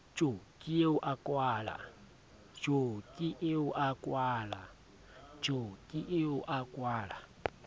jo ke eo a kwala